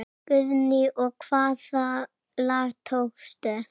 Guðný: Og hvaða lag tókstu?